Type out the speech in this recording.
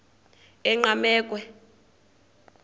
enqgamakhwe